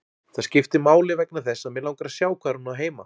Það skiptir máli vegna þess að mig langar að sjá hvar hún á heima.